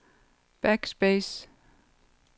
backspace